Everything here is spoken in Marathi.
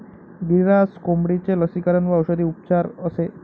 गिरीराज कोंबडीचे लसीकरण व औषधी उपचार असे